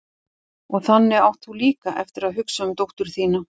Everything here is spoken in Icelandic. Og þannig átt þú líka eftir að hugsa um dóttur þína.